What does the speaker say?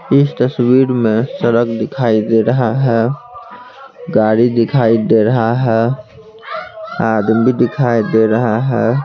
इस तस्वीर में सड़क दिखाई दे रहा है गाड़ी दिखाई दे रहा है आदमी दिखाई दे रहा है।